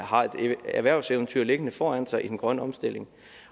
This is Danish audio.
har et erhvervseventyr liggende foran sig i den grønne omstilling